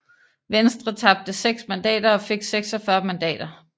Venstre tabte 6 mandater og fik 46 mandater